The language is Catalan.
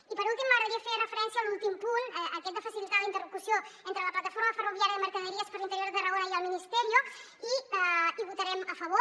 i per últim m’agradaria fer referència a l’últim punt aquest de facilitar la interlocució entre la plataforma ferroviària mercaderies per l’interior de tarragona i el ministerio i hi votarem a favor